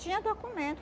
Tinha documento.